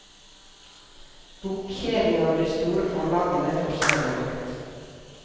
Bokkjedene og de store forlagene får større makt.